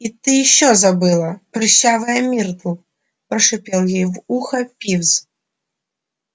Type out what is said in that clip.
и ты ещё забыла прыщавая миртл прошипел ей в ухо пивз